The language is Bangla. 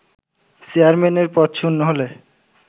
চেয়ারম্যানের পদ শূন্য হলে